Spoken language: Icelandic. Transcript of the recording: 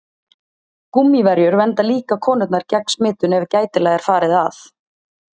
Gúmmíverjur vernda líka konurnar gegn smitun ef gætilega er farið að.